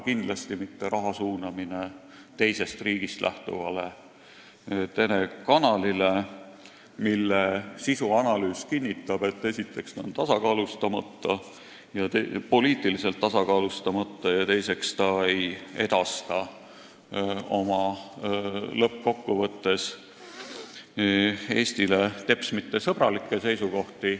Kindlasti ei tohiks raha suunata teisest riigist lähtuvale telekanalile, mille sisuanalüüs kinnitab, et esiteks on see poliitiliselt tasakaalustamata ja teiseks ei edasta lõppkokkuvõttes Eestile teps mitte sõbralikke seisukohti.